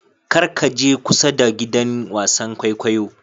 Kar ka je kusa da giɗan wasan ƙwaiƙwayo.